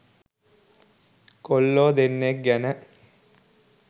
කොල්ලෝ දෙන්නෙක් ගැන.